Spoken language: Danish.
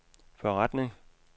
forretning